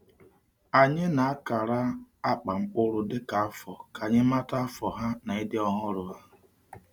Anyị na-akara akpa mkpụrụ dịka afọ ka anyị mata afọ ha na ịdị ọhụrụ ha.